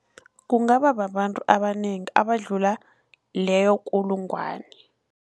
Kungaba babantu abanengi abadlula leyo kulungwana.